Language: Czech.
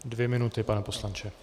Dvě minuty, pane poslanče.